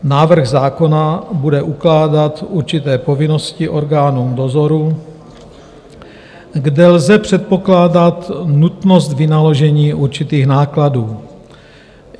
Návrh zákona bude ukládat určité povinnosti orgánům dozoru, kde lze předpokládat nutnost vynaložení určitých nákladů.